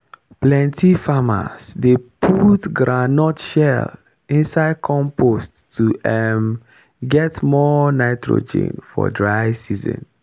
plenty farmers dey put groundnut shell inside compost to um get more nitrogen for dry season.